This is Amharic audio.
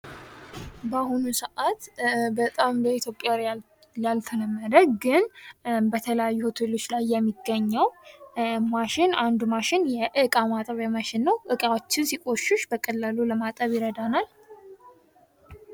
በአሁኑ ሰዓት በጣም በኢትዮጵያውያን ያልተለመደ ግን በተለያዩ ሆቴሎች ላይ የሚገኘው ማሽን አንዱ ማሽን የእቃ ማጠቢያ ማሽን ነው። ዕቃዎችን ሲቆሽሽ በቀላሉ ለማጠብ ይረዳናል።